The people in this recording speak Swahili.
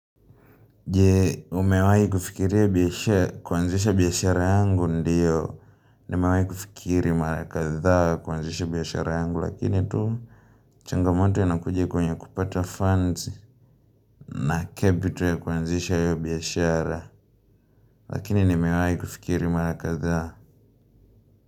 Je umewahi kufikiria biashara kuanzisha biashara yangu ndiyo Nimewahi kufikiri mara kadha kuanzisha biashara yangu lakini tu changamoto inakuja kwenye kupata funds na capital ya kuanzisha hio biashara Lakini nimewai kufikiri marakaza.